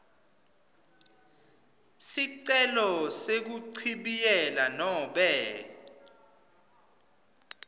sicelo sekuchibiyela nobe